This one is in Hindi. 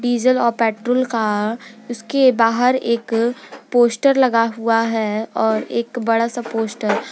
डीजल और पेट्रोल का उसके बाहर एक पोस्टर लगा हुआ है और एक बड़ा सा पोस्टर --